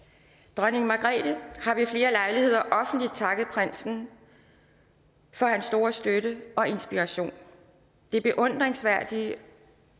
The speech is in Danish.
dronning margrethe har ved flere lejligheder offentligt takket prinsen for hans store støtte og inspiration den beundringsværdige